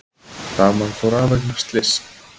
Rafmagn fór af vegna slyss